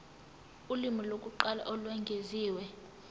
ulimi lokuqala olwengeziwe